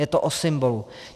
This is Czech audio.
Je to o symbolu.